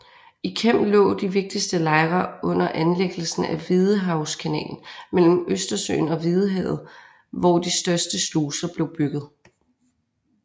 I Kem lå de vigtigste lejre under anlæggelsen af Hvidehavskanalen mellem Østersøen og Hvidehavet hvor de største sluser blev bygget